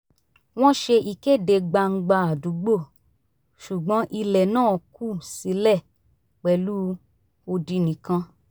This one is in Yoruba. wọ́n ṣe ìkéde gbangba àdúgbò ṣùgbọ́n ilẹ̀ náà kù sílẹ̀ pẹ̀lú odi nìkan